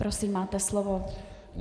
Prosím, máte slovo.